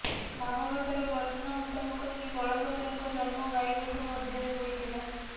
ଭାଗବତର ବର୍ଣ୍ଣନା ମୁତାବକ ଶ୍ରୀ ବଳଭଦ୍ରଙ୍କ ଜନ୍ମ ଗାଈଗୋଠ ମଧ୍ୟରେ ହୋଇଥିଲା